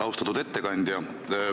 Austatud ettekandja!